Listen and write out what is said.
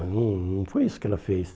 não foi isso que ela fez.